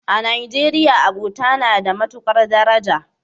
A Najeriya, abota na da matukar daraja.